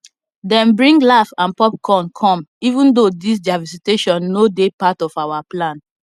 them bring laugh and popcorn come even though this their visitation no dey part of our plan